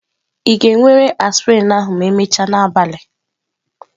Ị ga-ewere aspirin ahụ ma emechaa n'abalị?